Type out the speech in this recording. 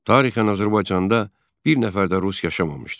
Tarixən Azərbaycanda bir nəfər də rus yaşamamışdı.